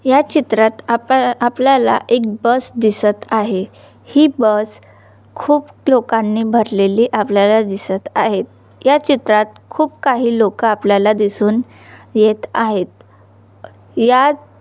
या चित्रात आपल्या आपल्याला एक बस दिसत आहे ही बस खूप लोकांनी भरलेली आपल्याना दिसत आहेत या चित्रात खूप काही लोक आपल्याला दिसून येत आहेत या--